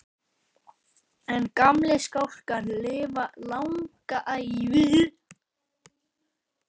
En gamlir skálkar lifa langa ævi.